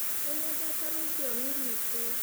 Nĩnyendete rũthiomi rwitũ